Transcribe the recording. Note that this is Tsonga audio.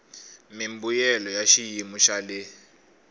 mimbuyelo ya xiyimo xa le